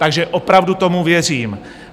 Takže opravdu tomu věřím.